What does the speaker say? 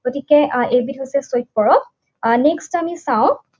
গতিকে আহ এইবিধ হৈছে চৈত পৰৱ। আহ Next আমি চাওঁ